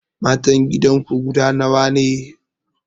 Matan gidanku guda nawa ne?